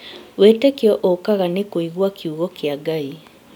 Wĩtĩkio ũkaga nĩ kũigua kiugo kĩa Ngai